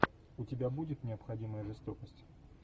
у тебя будет необходимая жестокость